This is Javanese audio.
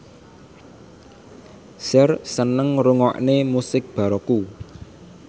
Cher seneng ngrungokne musik baroque